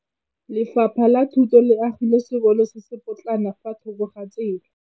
Lefapha la Thuto le agile sekôlô se se pôtlana fa thoko ga tsela.